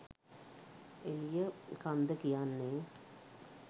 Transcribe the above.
එළිය කන්ද කියන්නේ